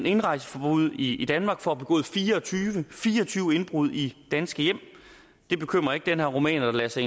indrejseforbud i danmark for at have begået fire og tyve fire og tyve indbrud i danske hjem det bekymrer ikke den her rumæner der lader sig